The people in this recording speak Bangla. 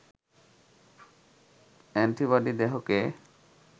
অ্যান্টিবডি দেহকে